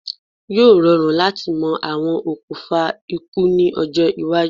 Yóò rọrùn láti mọ àwọn okùfà ikú ní ọjọ́-iwájú.